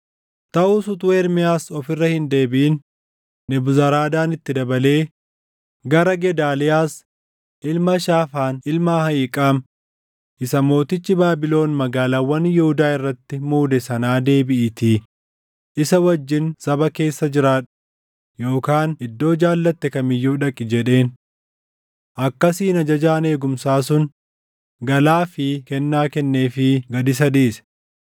Taʼus utuu Ermiyaas of irra hin deebiʼin Nebuzaradaan itti dabalee, “Gara Gedaaliyaas ilma Shaafaan ilma Ahiiqaam isa mootichi Baabilon magaalaawwan Yihuudaa irratti muude sanaa deebiʼiitii isa wajjin saba keessa jiraadhu, yookaan iddoo jaallatte kam iyyuu dhaqi” jedheen. Akkasiin ajajaan eegumsaa sun galaa fi kennaa kenneefii gad isa dhiise.